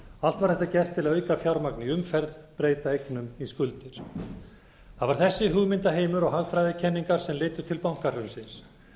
allt var þetta gert til að auka fjármagn í umferð breyta eignum í skuldir það var þessi hugmyndaheimur og hagfræðikenningar sem leiddu til bankahrunsins